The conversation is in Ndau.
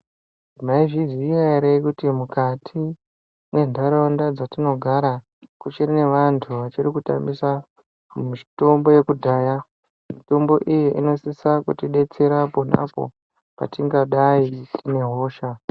Maizviziva here kuti mukati mwendaraunda dzatinogara kuchiri nevantu vachiri kutambisa mitombo yekudhaya, mitombo iyi inosisa kutibetsera ponapo patingadai tine hosha.